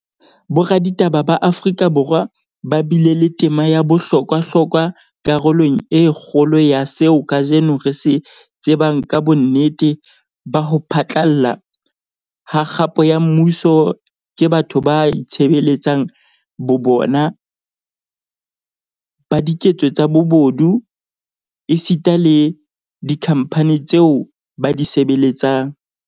Boraditaba ba Afrika Borwa ba bile le tema ya bohlokwa hlokwa karolong e kgolo ya seo kajeno re se tsebang ka bonnete ba ho phatlalla ha kgapo ya mmuso ke batho ba itshebeletsang bo bona, ba diketso tsa bobodu, esita le dikhamphani tseo ba di sebeletsang.